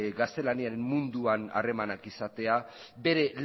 gaztelaniaren munduan harremanak izatea bere